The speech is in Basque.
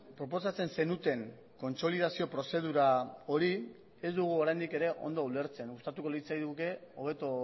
proposatzen zenuten kontsolidazio prozedura hori ez dugu oraindik ere ondo ulertzen gustatuko litzaiguke hobeto